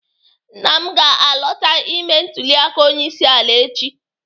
Nna m ga-alọta ime ntụliaka onyeisi ala echi.